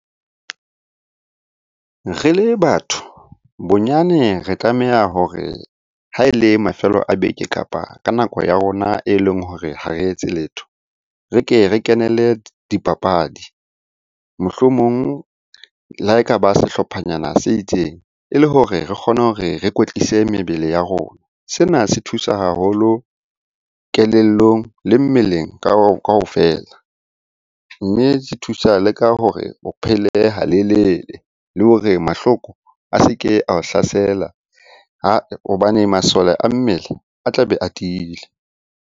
Re le batho bonyane re tlameha hore ha e le mafelo a beke, kapa ka nako ya rona e leng hore ha re etse letho. Re ke re kenele dipapadi, mohlomong le ha e ka ba sehlophanyana se itseng. E le hore re kgone hore re kwetlise mebele ya rona. Sena se thusa haholo kelellong le mmeleng kaofela. Mme se thusa le ka hore o phele ha lelele, le hore mahloko a seke ao hlasela hobane masole a mmele a tlabe a tiile.